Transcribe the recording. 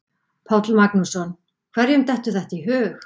Páll Magnússon: Hverjum dettur þetta í hug?